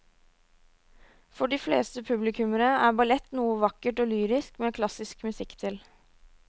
For de fleste publikummere er ballett noe vakkert og lyrisk med klassisk musikk til.